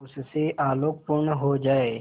उससे आलोकपूर्ण हो जाए